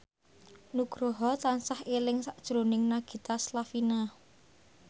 Nugroho tansah eling sakjroning Nagita Slavina